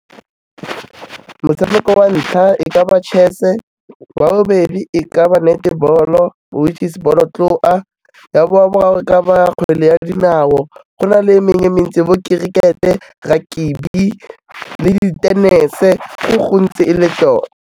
Motshameko wa ntlha e ka ba chess-a, wa bobedi e ka ba netball-o which is bolotloa, ya boraro e ka ba kgwele ya dinao, go na le e mengwe e mentsi bo kerikete, rakabi le di tenese, go gontsi e le tota.